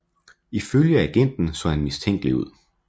Ifølge agenten så han mistænkelig ud